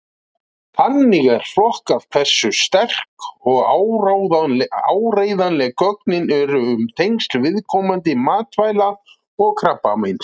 Þannig er flokkað hversu sterk og áreiðanleg gögnin eru um tengsl viðkomandi matvæla og krabbameins.